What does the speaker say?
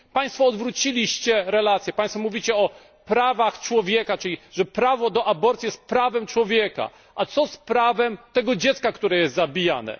Państwo odwróciliście relacje, państwo mówicie o prawach człowieka, czyli że prawo do aborcji jest prawem człowieka a co z prawem tego dziecka, które jest zabijane?